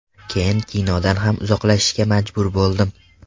Keyin kinodan ham uzoqlashishga majbur bo‘ldim.